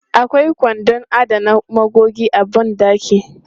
Akwai kwandon adana magogi a ban ɗaki.